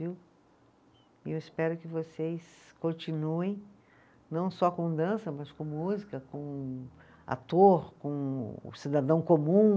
Viu. E eu espero que vocês continuem, não só com dança, mas com música, com ator, com o cidadão comum,